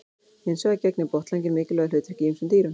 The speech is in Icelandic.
Hins vegar gegnir botnlanginn mikilvægu hlutverki í ýmsum dýrum.